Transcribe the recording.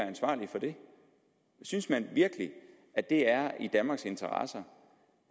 ansvarlige for det synes man virkelig at det er i danmarks interesse